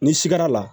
N'i sigara la